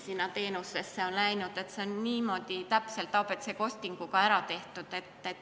See on kõik niimoodi täpselt ABC-costing'uga ära tehtud.